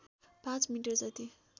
पाँच मिटर जति